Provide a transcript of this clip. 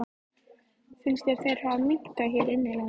Finnst þér þeir hafa minnkað hér innanlands?